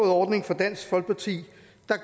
ordning fra dansk folkeparti